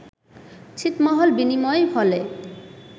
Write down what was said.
ছিটমহল বিনিময় হলে